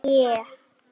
Eyrnamörk á sauðfé.